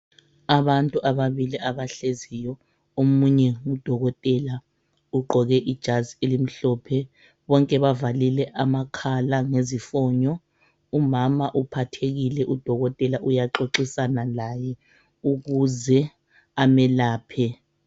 Abantu ababili abahleziyo omunye ngudokotela ugqoke ijazi elimhlophe bonke bavalile amakhala ngezifonyo umama uphathekile udokotela uyaxoxisana laye ukuze amelaphe.